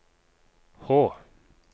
H